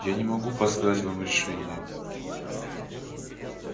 я не могу подсказать вам решение